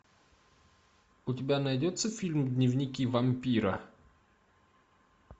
у тебя найдется фильм дневники вампира